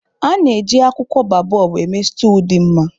A na-eji akwụkwọ baobobu eme stúu dị mma.